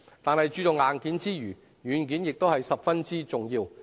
但是，在注重硬件之餘，軟件也是十分重要。